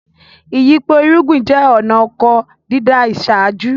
Ìyípo irúgbin jẹ́ ọ̀na ọkọ dídá ìṣáájú